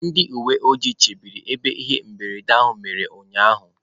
Ndị uwe ojii chebere ebe ihe mberede a mere ụnyahụ.